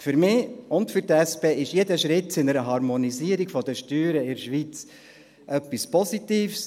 Für mich und für die SP ist jeder Schritt zu einer Harmonisierung der Steuern in der Schweiz etwas Positives.